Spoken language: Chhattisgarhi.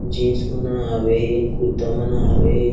जींस मन ह हावे कुर्ता मन ह हावे।